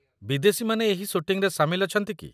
ବିଦେଶୀମାନେ ଏହି ସୁଟିଂରେ ସାମିଲ ଅଛନ୍ତି କି?